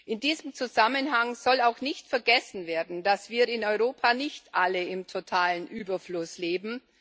In diesem Zusammenhang soll auch nicht vergessen werden, dass wir in Europa nicht alle im totalen Überfluss leben.